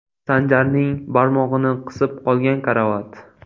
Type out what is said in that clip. Sanjarning barmog‘ini qisib qolgan karavot.